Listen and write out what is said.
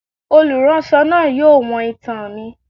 Oluránsọ náá yóò wọ́n itán mí